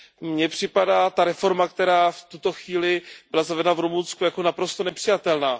Mně připadá ta reforma, která v tuto chvíli byla zavedena v Rumunsku, jako naprosto nepřijatelná.